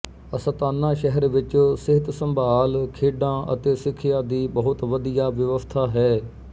Astana ਸ਼ਹਿਰ ਵਿੱਚ ਸਿਹਤਸੰਭਾਲ ਖੇਡਾਂ ਅਤੇ ਸਿੱਖਿਆ ਦੀ ਬਹੁਤ ਵਧੀਆ ਵਿਵਸਥਾ ਹੈ